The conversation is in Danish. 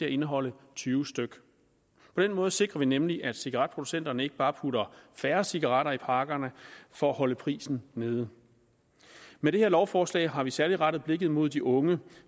at indeholde tyve styk på den måde sikrer vi nemlig at cigaretproducenterne ikke bare putter færre cigaretter i pakkerne for at holde prisen nede med det her lovforslag har vi særlig rettet blikket mod de unge